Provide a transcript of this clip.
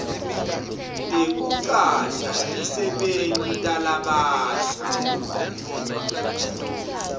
tekucasha tisebenti talabasha